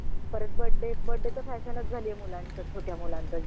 परत बडे बडे तर fashion झालीय मुलाचं छोट्या मुलाचं